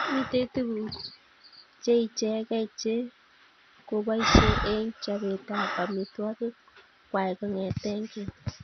Mitei tuguuk cheichegei chekoboisye eng chobeetab amitwogiik kwai kong'ete keny.